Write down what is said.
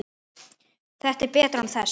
Þetta er betra án þess.